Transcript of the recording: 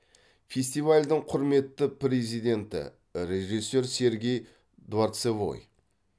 фестивальдің құрметті президенті режиссер сергей дворцевой